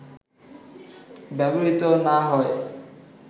ব্যবহৃত না হয়